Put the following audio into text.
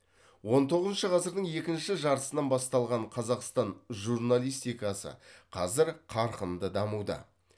он тоғызыншы ғасырдың екінші жартысынан басталған қазақстан журналистикасы қазір қарқынды дамуда